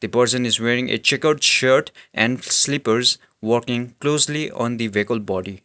the person is wearing a checkered shirt and slippers walking closely on the vehicle body.